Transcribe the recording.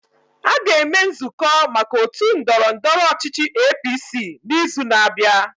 A ga-eme nzụkọ maka otu ndọrọndọrọ ọchịchị APC n'izu na-abịa.